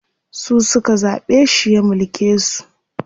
Su suka zaɓe shi ya mulke su.